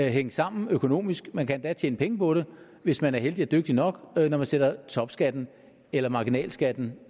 hænge sammen økonomisk man kan endda tjene penge på det hvis man er heldig og dygtig nok når man sætter topskatten eller marginalskatten